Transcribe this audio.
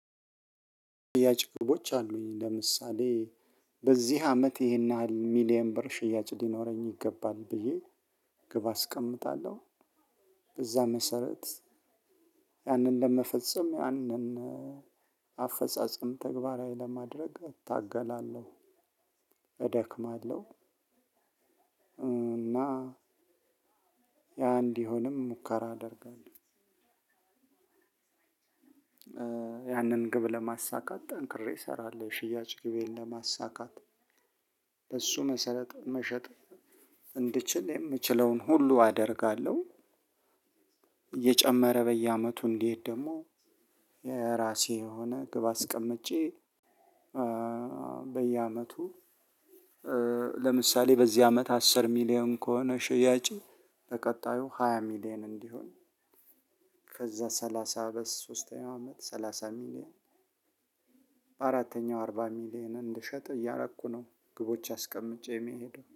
ሽያጭ ክፍሎች አሉኝ ለምሳሌ በዚህ አመት ይሄን ያህል ሚሊየን ብር ሽያጭ ሊኖረኝ ይገባል ብዬ ግብ አስቀምጣለሁ። በዛ መሰረት ያንን ለመፈጸም ያንን አፈጻጸም ተግባራዊ ለማድረግ እታገላለሁ። እደክማለሁ። እና ያ እንዲሆንም ሙከራ አደርጋለሁ። ያንን ግብ ለማሳካት ጠንክሬ እሰራለሁ ሽያጭ ግቤን ለማሳካት በእሱ መሰረት መሸጥ እንድችል የምችለውን ሁሉ አደርጋለሁ። እየጨመረ በየአመቱ እንዲሄድ ደግሞ የራሴ የሆነ ግብ አስቀምጬ በየአመቱ ለምሳሌ በዚህ አመት አስር ሚሊየን ከሆነ ሽያጬ በቀጣዩ ሃያ ሚሊየን እንዲሆን። ከዛ ሰላሳ በሶስተኛው አመት ሰላሳ ሚሊየን በአራተኛው አርባ ሚሊየን እንድሸጥ እያረኩ ነው። ግቦች አስቀምጬ የሚሄደው